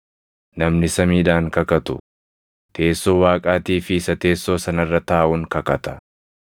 Namni samiidhaan kakatu, teessoo Waaqaatii fi isa teessoo sana irra taaʼuun kakata.